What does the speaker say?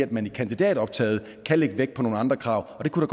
at man i kandidatoptaget kan lægge vægt på nogle andre krav og det kunne